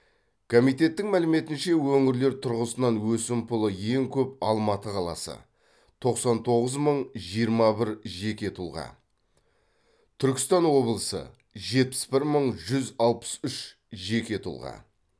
комиеттің мәліметінше өңірлер тұрғысынан өсімпұлы ең көп алматы қаласы тоқсан тоғыз мың жиырма бір жеке тұлға түркістан облысы жетпіс бір мың жүз алпыс үш жеке тұлға